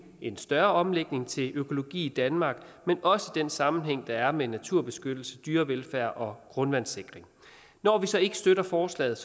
en større omlægning til økologi i danmark men også den sammenhæng der er med naturbeskyttelse dyrevelfærd og grundvandssikring når vi så ikke støtter forslaget